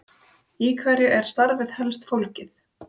Brynhildur Ólafsdóttir: Í hverju er starfið helst fólgið?